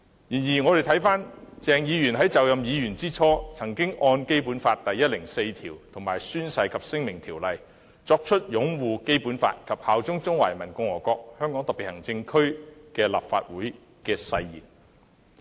然而，我們看回鄭議員在就任議員之初，曾按《基本法》第一百零四條及《宣誓及聲明條例》作出擁護《基本法》，以及效忠中華人民共和國香港特別行政區立法會的誓言。